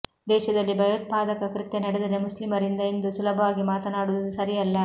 ದೇಶದಲ್ಲಿ ಭಯೋತ್ಪಾದಕ ಕೃತ್ಯ ನಡೆದರೆ ಮುಸ್ಲಿಮರಿಂದ ಎಂದು ಸುಲಭವಾಗಿ ಮಾತನಾಡುವುದು ಸರಿಯಲ್ಲ